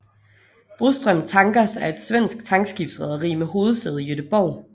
Broström Tankers er et svensk tankskibsrederi med hovedsæde i Göteborg